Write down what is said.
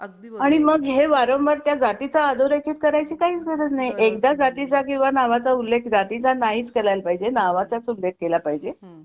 आणि मग हे वारंवार त्या जातीचा अधोरेखित करायची काहीच गरज नाही एकदा जाती वा नावाचा उल्लेख जातीचा नाहीच करायला पाहिजे नावाचाच उल्लेख केला पाहिजे.